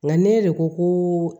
Nka ne de ko ko